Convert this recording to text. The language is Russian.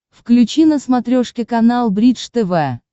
включи на смотрешке канал бридж тв